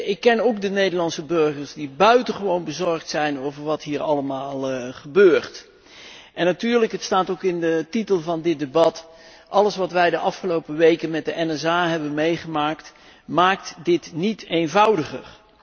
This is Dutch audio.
Ik ken ook de Nederlandse burgers die buitengewoon bezorgd zijn over wat hier allemaal gebeurt. En natuurlijk, de titel van dit debat wijst er al op alles wat wij de afgelopen weken met de NSA hebben meegemaakt, maakt dit niet eenvoudiger.